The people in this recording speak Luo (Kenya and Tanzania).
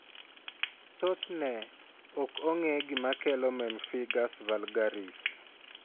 Thothne, ok ong'e gima kelo pemphigus vulgaris.